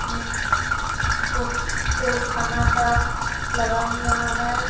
ये फोटो खाना का लगा हुआ है।